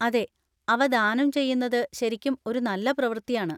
അതെ, അവ ദാനം ചെയ്യുന്നത് ശരിക്കും ഒരു നല്ല പ്രവർത്തിയാണ്.